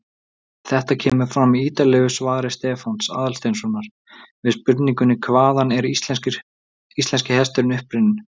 Þetta kemur fram í ýtarlegu svari Stefáns Aðalsteinssonar við spurningunni Hvaðan er íslenski hesturinn upprunninn?